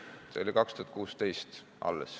See oli alles 2016.